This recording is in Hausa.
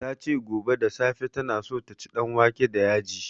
Ta ce gobe da safe ta na so ta ci danwake da yaji